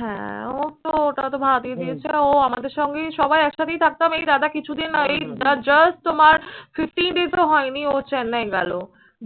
হ্যাঁ ওর তো ওটা তো ভাড়া দিয়ে দিয়েছে। ও আমাদের সঙ্গেই সবাই একসাথেই থাকতাম। এই দাদা কিছুদিন আগেই ju just তোমার fifty days ও হয়নি ও চেন্নাই গেলো।